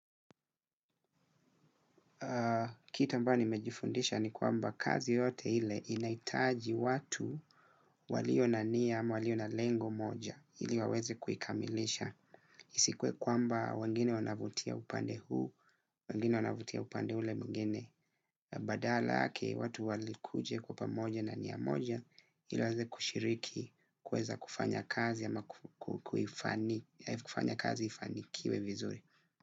Kitu ambayo nimejifundisha ni kwamba kazi yoyote ile inahitaji watu walio na nia ama walio na lengo moja ili waweze kuikamilisha. Isikuwe kwamba wengine wanavutia upande huu, wengine wanavutia upande ule mwingine na badala yake watu walikuja kwa pamoja na nia moja ili waweze kushiriki kuweza kufanya kazi ama kufanya kazi ifanikiwe vizuri.